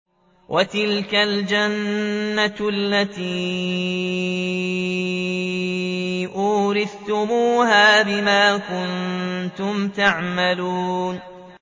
وَتِلْكَ الْجَنَّةُ الَّتِي أُورِثْتُمُوهَا بِمَا كُنتُمْ تَعْمَلُونَ